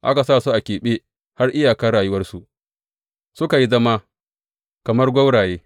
Aka sa su a keɓe har iyakar rayuwarsu, suka yi zama kamar gwauraye.